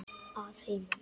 Að heiman?